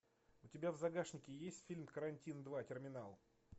у тебя в загашнике есть фильм карантин два терминал